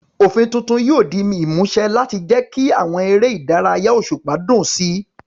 Òfin tuntun yóò di ìmúṣẹ láti jẹ́ kí àwọn eré ìdárayá òṣùpá dùn sí i.